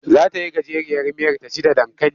Za ta yi gajeriyar miyar ta ci da dankali.